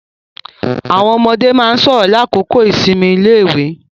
Àwọn ọmọde máa ń sọ̀rọ̀ ní àkókò ìsinmi iléèwé.